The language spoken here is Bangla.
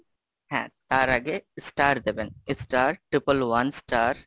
হ্যাঁ তার আগে star দেবেন। Star triple one star,